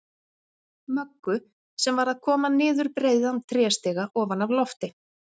Möggu, sem var að koma niður breiðan tréstiga ofan af lofti.